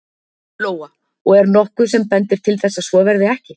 Lóa: Og er nokkuð sem bendir til þess að svo verði ekki?